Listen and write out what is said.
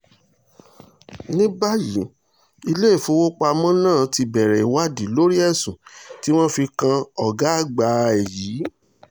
ní báyìí iléèfowópamọ́ náà ti bẹ̀rẹ̀ ìwádìí lórí ẹ̀sùn tí wọ́n fi kan ọgbà àgbà ẹ̀ yìí